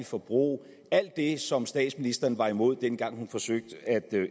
forbrug alt det som statsministeren var imod dengang hun forsøgte at